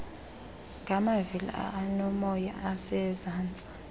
ngamavili aonomoya osezantsi